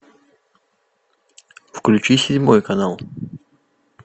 включи седьмой канал